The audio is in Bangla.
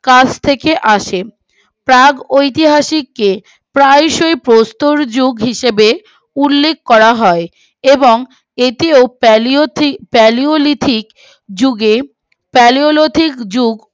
কাছ থেকে আসে প্রাগ ঐতিহাসিক কে প্রায় সই প্রস্তর যুগ হিসাবে উল্লেখ করা হয় এবং এটি ফেলি ফেলিওলিথিক যুগে ফেলিওলিথিক যুগ